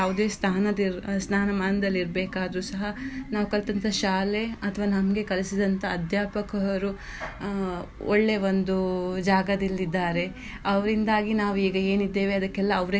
ಸ್ಥಾನದಲ್ಲಿ ಸ್ಥಾನಮಾನದಲ್ಲಿರ್ಬೇಕಾದ್ರುಸ ಕಲ್ತಂತೆ ನಾವು ಕಲ್ಸಿದಂತ ಶಾಲೆ ಅಥವಾ ನಮಗೆ ಕಲಿಸಿದಂತ ಅಧ್ಯಾಪಕರು ಆ ಒಳ್ಳೆ ಒಂದು ಜಾಗದಲ್ಲಿ ಇದ್ದಾರೆ ಅವರಿಂದಾಗಿ ನಾವೀಗ ಏನಿದ್ದವೆ ಅದಕ್ಕೆಲ್ಲಾ ಅವ್ರೆ ಕಾರಣ.